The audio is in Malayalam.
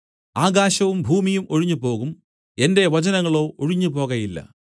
ആകാശവും ഭൂമിയും ഒഴിഞ്ഞുപോകും എന്റെ വചനങ്ങളോ ഒഴിഞ്ഞുപോകയില്ല